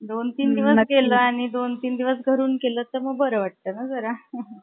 दोन तीन दिवस केलं आणि दोन तीन दिवस घरुन केलं कि बर वाटत ना जरा .